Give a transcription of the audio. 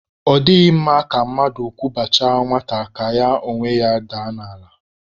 Ọ dịghị mma ka mmadụ kwụbachaa nwata ka ya onwe ya daa n'ala